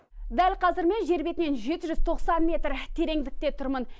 дәл қазір мен жер бетінен жеті жүз тоқсан метр тереңдікте тұрмын